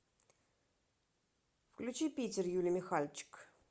включи питер юли михальчик